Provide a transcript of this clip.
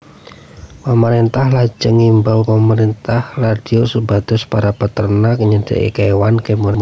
Pamarèntah lajeng ngimbau lumantar radio supados para peternak nyadé kéwan kéwanipun